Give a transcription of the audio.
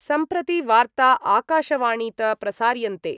सम्प्रति वार्ता आकाशवाणीत प्रसार्यन्ते